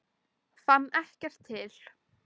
Fann ekkert til.